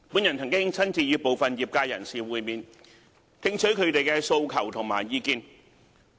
我曾親自與部分業界人士會面，聽取他們的訴求和意見。